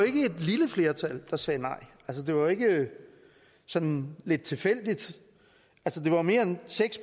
ikke et lille flertal der sagde nej det var ikke sådan lidt tilfældigt det var mere end seks